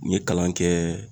N ye kalan kɛ